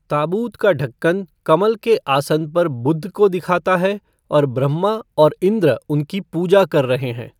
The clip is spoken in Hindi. ताबूत का ढक्कन कमल के आसन पर बुद्ध को दिखाता है और ब्रह्मा और इँद्र उनकी पूजा कर रहे हैं।